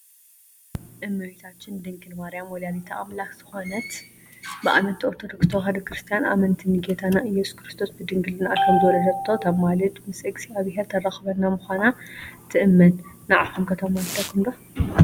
እሜታችን ድንግል ማርያም ወላዲተ ኣምላክ ዝኮነት ብኣመንቲ ኦርቶዶክስ ተዋህዶ ክርስትያን ኣመንቲ ንጌታና እየሱስ ክርስቶስ ብድንግልናኣ ከምዝወለደቶ ተማልድ ምስ እግዝኣብሄር ተራክበና ምኳና ትእመን፣ ንዓኩም ከ ተማልደኩም ዶ?